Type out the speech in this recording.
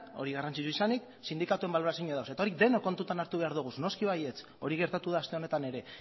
hori garrantzitsua izanik sindikatuen balorazioa daude eta hori denok kontutan hartu behar dugu noski baietz hori gertatu da aste honetan ere